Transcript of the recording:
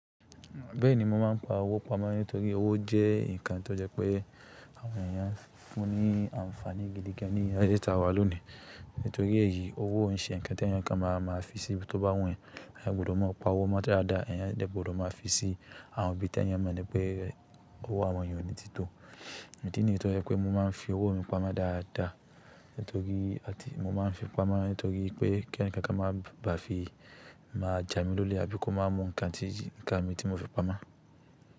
Bẹ́ẹ̀ni, mo máa ń pa owó pamọ́ nítorí owó jẹ́ ǹkan tó jẹ pé àwọn èèyàn ń fún ní àǹfààní gidi gan ní ayé ìta wa lónìí. Nítorí èyí, owó ń ṣe ǹkan tí ẹ̀yàn kankan máa fi sí tó bá wù ẹ́, ẹ gbọdọ̀ máa pa owó mọ́ dáadáa, ẹ yẹ dọ̀bọ̀ má fi sí àwọn ibi tí ẹ̀yàn mọ̀ ní pé owó àwọn èèyàn ni títò. Idi niyen to ye wípé mo máa ń fi owó mi pamọ́ dáadáa nítorí pé kí ẹ̀ni kankan má bà fi má ja mi lólè àbí kó má mu ǹkan mi tí mo fi pamọ́.